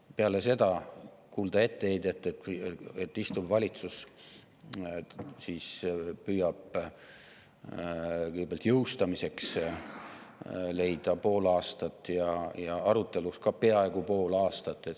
Ja peale seda kuuleme etteheidet, et see on kuidagi kiirustamine, kui praegune valitsus püüab kõigepealt jõustamiseks leida pool aastat ja siis aruteluks ka peaaegu pool aastat.